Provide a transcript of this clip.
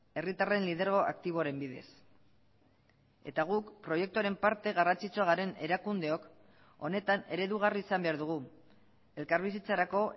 herritarren lidergo aktiboaren bidez eta guk proiektuaren parte garrantzitsua garen erakundeok honetan eredugarri izan behar dugu elkarbizitzarako